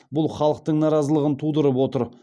бұл халықтың наразылығын тудырып отыр